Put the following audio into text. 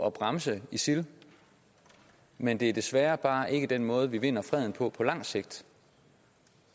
at bremse isil men det er desværre bare ikke den måde vi vinder freden på på lang sigt